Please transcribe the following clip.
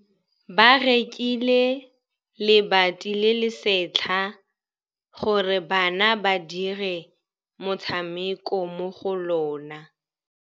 Ba rekile lebati le le setlha gore bana ba dire motshameko mo go lona.